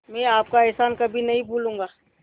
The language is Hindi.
मैं आपका एहसान कभी नहीं भूलूंगा